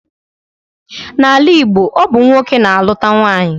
N'ala Igbo, ọ bụ nwoke na-alụta nwaanyị